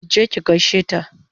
Ki je ki gaishe ta!